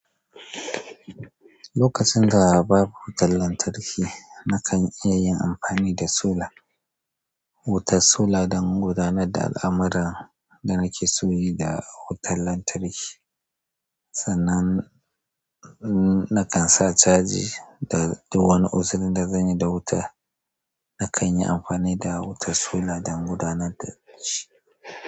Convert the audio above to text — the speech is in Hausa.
Lokacin da babu wutar lantarki, na kan iya yin amfani da sola wutar sola don gudanar da al'amuran da nake so yi da wutar lantarki. Sannan, nakan sa caji da wani uzuri da zanyi da wuta. Nakan yi amfani da wutar sola don gudanar da shi.